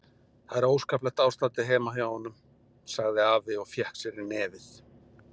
Það er óskaplegt ástandið heima hjá honum, sagði afi og fékk sér í nefið.